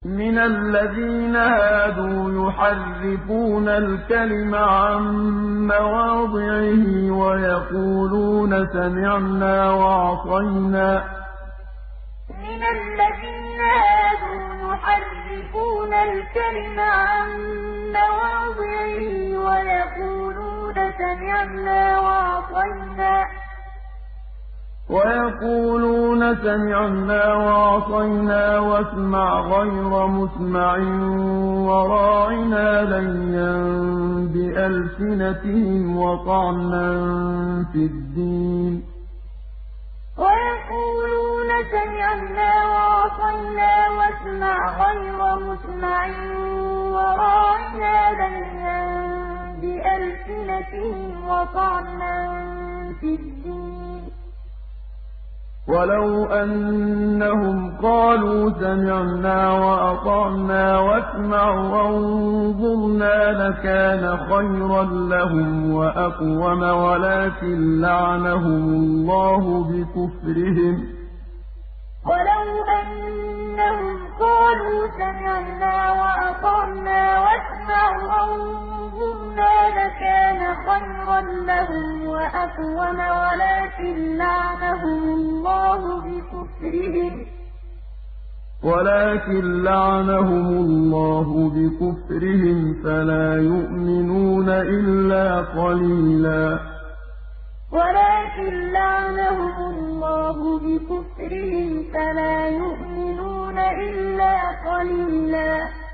مِّنَ الَّذِينَ هَادُوا يُحَرِّفُونَ الْكَلِمَ عَن مَّوَاضِعِهِ وَيَقُولُونَ سَمِعْنَا وَعَصَيْنَا وَاسْمَعْ غَيْرَ مُسْمَعٍ وَرَاعِنَا لَيًّا بِأَلْسِنَتِهِمْ وَطَعْنًا فِي الدِّينِ ۚ وَلَوْ أَنَّهُمْ قَالُوا سَمِعْنَا وَأَطَعْنَا وَاسْمَعْ وَانظُرْنَا لَكَانَ خَيْرًا لَّهُمْ وَأَقْوَمَ وَلَٰكِن لَّعَنَهُمُ اللَّهُ بِكُفْرِهِمْ فَلَا يُؤْمِنُونَ إِلَّا قَلِيلًا مِّنَ الَّذِينَ هَادُوا يُحَرِّفُونَ الْكَلِمَ عَن مَّوَاضِعِهِ وَيَقُولُونَ سَمِعْنَا وَعَصَيْنَا وَاسْمَعْ غَيْرَ مُسْمَعٍ وَرَاعِنَا لَيًّا بِأَلْسِنَتِهِمْ وَطَعْنًا فِي الدِّينِ ۚ وَلَوْ أَنَّهُمْ قَالُوا سَمِعْنَا وَأَطَعْنَا وَاسْمَعْ وَانظُرْنَا لَكَانَ خَيْرًا لَّهُمْ وَأَقْوَمَ وَلَٰكِن لَّعَنَهُمُ اللَّهُ بِكُفْرِهِمْ فَلَا يُؤْمِنُونَ إِلَّا قَلِيلًا